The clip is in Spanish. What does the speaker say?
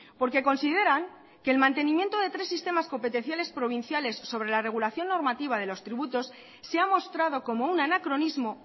porque consideran que el mantenimiento de tres sistemas competenciales provinciales sobre la regulación normativa de los tributos se ha mostrado como un anacronismo